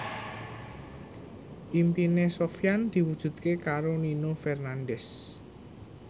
impine Sofyan diwujudke karo Nino Fernandez